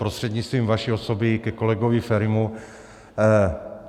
Prostřednictvím vaší osoby ke kolegovi Ferimu.